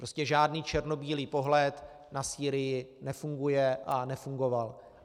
Prostě žádný černobílý pohled na Sýrii nefunguje a nefungoval.